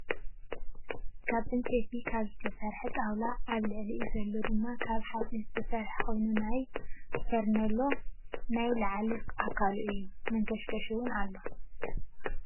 ካብ ዕንጨይቲ ካብ ዝተሰረሐ ጣውላ ኣብ ልዕሊኡ ዘሎ ድማ ካበ ሓፂን ዝተሰረሐ ኮይኑናየ ፎርንዮሎ ናይ ላዕሊኣካሉ እዩ። መንከሽከሽ እውን ኣሎ።